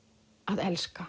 að elska